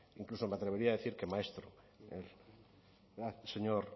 incluso me atrevería a decir que maestro el